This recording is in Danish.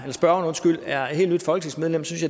om spørgeren er et helt nyt folketingsmedlem synes